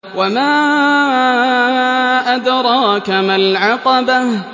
وَمَا أَدْرَاكَ مَا الْعَقَبَةُ